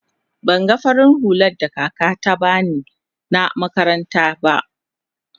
ban gan farin hulla da kaka na ta bani na makaranta ba.